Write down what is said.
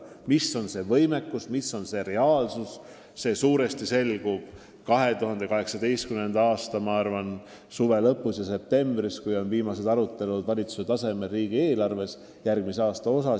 Kui suur on meie võimekus, milline on reaalne seis, see selgub aga tänavu suve lõpus ja septembris, kui valitsuses on viimased arutelud järgmise aasta riigieelarve teemal.